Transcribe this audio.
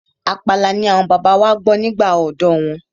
Àpàlà ni àwọn bàbá wa gbọ́ nígbà ọ̀dọ́ wọn.